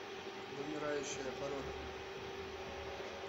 вымирающая порода